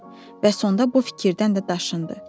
Və sonda bu fikirdən də daşındı.